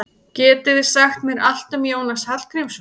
Getið þið sagt mér allt um Jónas Hallgrímsson?